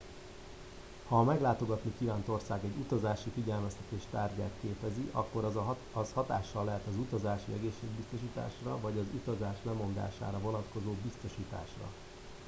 ha a meglátogatni kívánt ország egy utazási figyelmeztetés tárgyát képezi akkor az hatással lehet az utazási egészségbiztosításra vagy az utazás lemondására vonatkozó biztosításra